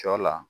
Sɔ la